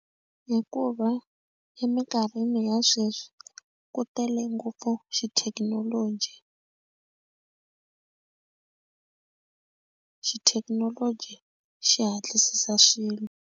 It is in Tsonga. Hikuva eminkarhini ya sweswi ku tele ngopfu xithekinoloji xithekinoloji xi hatlisisa swilo.